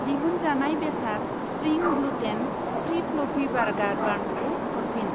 दिहुनजानाय बेसाद spring gluten free fluffy burger बान्सखौ हरफिन।